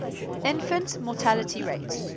infant mortality rate